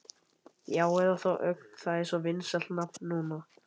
Já, eða þá Ögn, það er svo vinsælt nafn núna.